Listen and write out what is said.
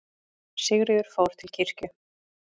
Sigríður fór til kirkju.